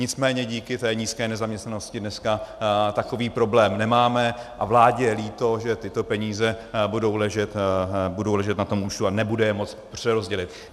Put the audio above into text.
Nicméně díky té nízké nezaměstnanosti dneska takový problém nemáme a vládě je líto, že tyto peníze budou ležet na tom účtu a nebude je moci přerozdělit.